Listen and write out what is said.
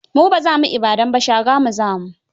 Mu ba za mu Ibadan ba, Shagamu za mu.